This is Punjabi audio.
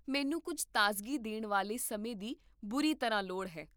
ਮੈਨੂੰ ਕੁੱਝ ਤਾਜ਼ਗੀ ਦੇਣ ਵਾਲੇ ਸਮੇਂ ਦੀ ਬੁਰੀ ਤਰ੍ਹਾਂ ਲੋੜ ਹੈ